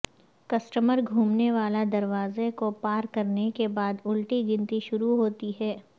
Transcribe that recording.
customer گھومنے والا دروازہ کو پار کرنے کے بعد الٹی گنتی شروع ہوتی ہے